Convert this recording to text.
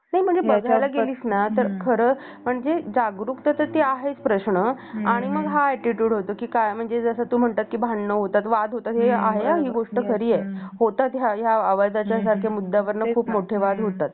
नयना घेणं आणि शिक्षण घेणं त्या प्रमाणे आपल्या व्यक्ती महत्वासाठी शेवटचा श्वासा पर्येंत प्रयत्न करण हा प्रत्येकाचा अधीकार आहे प्रत्येकाचा हा